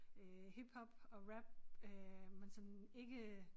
Øh hiphop og rap øh men sådan ikke